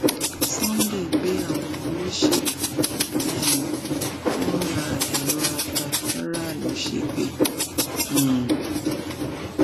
sunday gbé àwọn olóṣèlú um tó ń ra èrò ata fáráàlú ṣépè um